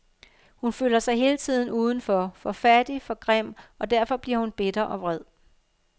Hun føler sig hele tiden udenfor, for fattig, for grim, og derfor bliver hun bitter og vred.